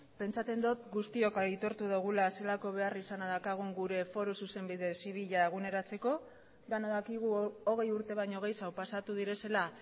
pentsatzen dut guztiok aitortu dugula zelako beharrizana daukagu gure foru zuzenbide zibila eguneratzeko denok dakigu hogei urte baino gehiago pasatu direla